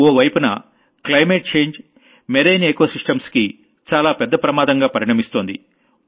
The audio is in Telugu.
ఓ వైపున climate change marine ecosystems కి చాలా పెద్ద ప్రమాదంగా పరిణమిస్తోంది